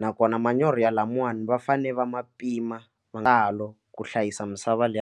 nakona manyoro ya lamawani va fane va ma pima ma nga ha lo ku hlayisa misava leyi.